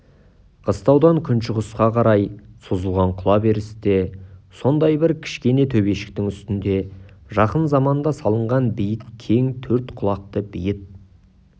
қыстаудан күншығысқа қарай созылған құлаберісте сондай бір кішкене төбешіктің үстінде жақын заманда салынған биік кең төрт құлақты бейіт